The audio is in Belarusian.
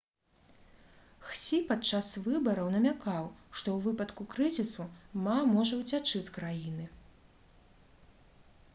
хсі падчас выбараў намякаў што ў выпадку крызісу ма можа ўцячы з краіны